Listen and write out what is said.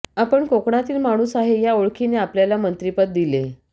आपण कोकणातील माणूस आहे या ओळखीने आपल्याला मंत्रीपद दिले